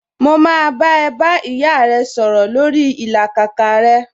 Mo máa bá ẹ bá ìyá rẹ sọ̀rọ̀ lórii ìlàkàkà rẹ